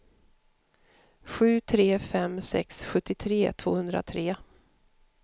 sju tre fem sex sjuttiotre tvåhundratre